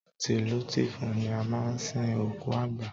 Tìlù tìfọn ni a máa ń sin òkú àgbà.